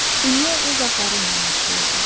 Dünya öz axarı ilə yaşayırdı.